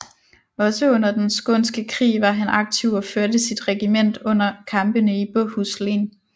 Også under Den Skånske Krig var han aktiv og førte sit regiment under kampene i Båhus Len